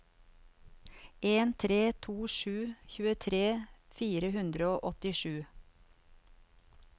en tre to sju tjuetre fire hundre og åttisju